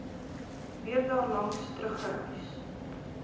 weer daarlangs teruggereis